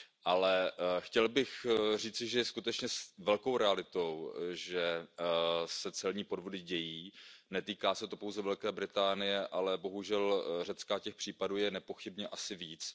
Ale chtěl bych říci, že je skutečně velkou realitou, že se celní podvody dějí, netýká se to pouze Velké Británie, ale bohužel i Řecka a těch případů je nepochybně asi více.